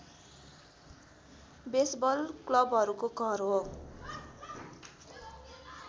baseball क्लबहरूको घर हो